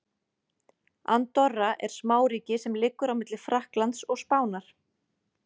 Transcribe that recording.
Andorra er smáríki sem liggur á milli Frakklands og Spánar.